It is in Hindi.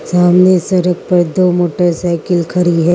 सामने सड़क पर दो मोटरसाइकिल खड़ी है।